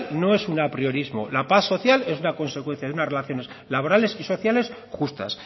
no es un apriorismo la paz social es una consecuencia de unas relaciones laborales y sociales justas